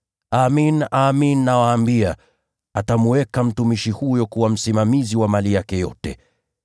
Amin, nawaambia, atamweka mtumishi huyo kuwa msimamizi wa mali yake yote.